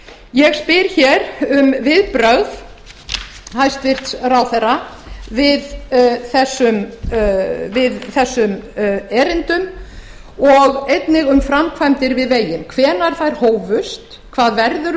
ég spyr um viðbrögð hæstvirts ráðherra við þessum erindum og einnig um framkvæmdir við veginn hvenær þær hófust hvað verður um